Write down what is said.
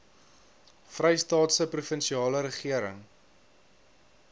vrystaatse provinsiale regering